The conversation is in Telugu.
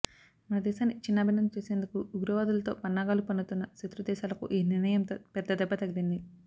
మన దేశాన్ని ఛిన్నాభిన్నం చేసేందుకు ఉగ్రవాదులతో పన్నాగాలు పన్నుతున్న శత్రు దేశాలకు ఈ నిర్ణయంతో పెద్దదెబ్బ తగిలింది